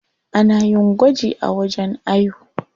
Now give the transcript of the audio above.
Ana yin gwaji a wajen ayo.